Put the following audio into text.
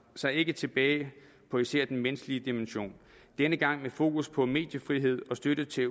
sig ikke tilbage på især den menneskelige dimension denne gang med fokus på mediefrihed og støtte til